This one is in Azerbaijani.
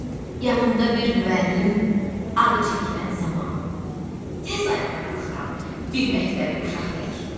Yanımda bir müəllim adı çəkilən zaman tez ayağa qalxıram bir məktəbli uşaq tək.